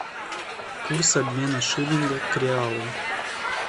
курс обмена шиллинга к реалу